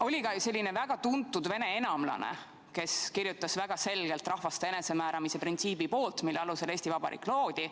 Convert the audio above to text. Oli ka selline väga tuntud vene enamlane, kes kirjutas väga selgelt rahvaste enesemääramise printsiibi poolt, mille alusel Eesti Vabariik loodi.